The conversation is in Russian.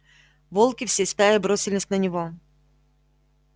волки всей стаей бросились на него